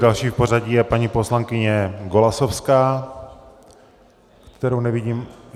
Další v pořadí je paní poslankyně Golasowská, kterou nevidím.